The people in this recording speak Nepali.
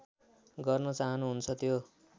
गर्न चाहनुहुन्छ त्यो